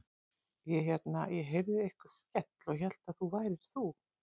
Ég hérna. ég heyrði einhvern skell og hélt að það værir þú.